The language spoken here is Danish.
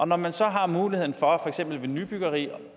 når man så har muligheden for for eksempel ved nybyggeri